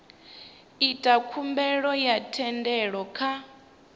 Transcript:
ita khumbelo ya thendelo kha